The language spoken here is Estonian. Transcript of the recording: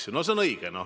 No see on õige.